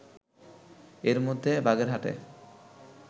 এর মধ্যে বাগেরহাটে